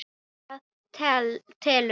Það telur.